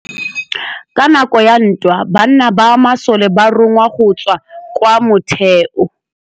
Ka nakô ya dintwa banna ba masole ba rongwa go tswa kwa mothêô.